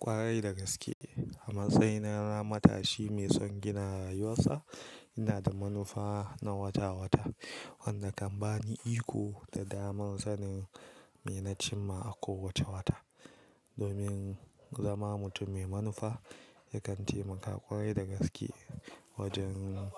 Kwarai da gaske, a matsayina na matashi mai son gina rayuwarsa, ina da manufa na wata-wata wanda kan bani iko da damar sanin me na cimma a kowace wata. Domin zama mutum mai manufa, yakan taimaka ƙwarai da gaske wajen